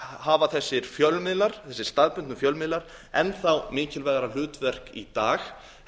hafa þessir staðbundnu fjölmiðlar enn þá mikilvægara hlutverk í dag